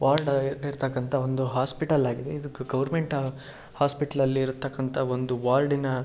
Ward ಅಲ್ ಇರ್ತಕ್ಕಂತಹ ಒಂದು ಹಾಸ್ಪಿಟಲ್ ಆಗಿದೆ. ಇದು ಗವರ್ನಮೆಂಟ್ ಹಾಸ್ಪಿಟಲ್ ಅಲ್ಲಿ ಇರ್ತಕ್ಕಂತಹ ಒಂದು ವಾರ್ಡ ಇನ --